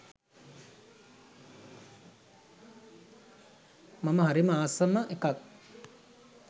මම හරිම ආසම එකක්.